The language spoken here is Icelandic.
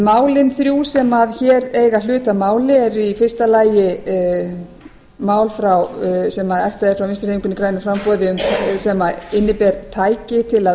málin þrjú sem hér eiga hlut að máli eru í fyrsta lagi mál sem ættuð eru frá vinstri hreyfingunni grænu framboði sem inni ber tæki til að